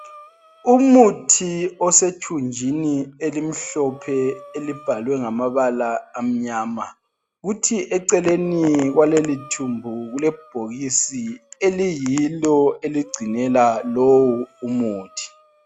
Umuthi osethunjini elimhlophe elibhalwe ngamabala amnyama. Kuthi eceleni kwalelithumbu kulebhokisi eliyilo eligcinela lowu umuthi.